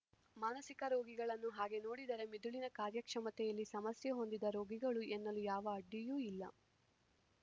ಮಾನಸಿಕ ರೋಗಿಗಳನ್ನು ಹಾಗೆ ನೋಡಿದರೆ ಮಿದುಳಿನ ಕಾರ್ಯಕ್ಷಮತೆಯಲ್ಲಿ ಸಮಸ್ಯೆ ಹೊಂದಿದ ರೋಗಿಗಳು ಎನ್ನಲು ಯಾವ ಅಡ್ಡಿಯೂ ಇಲ್ಲ